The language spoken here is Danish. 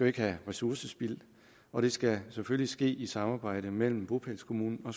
ikke have ressourcespild og det skal selvfølgelig ske i samarbejde mellem bopælskommunen og